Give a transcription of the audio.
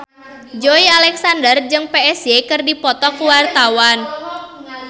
Joey Alexander jeung Psy keur dipoto ku wartawan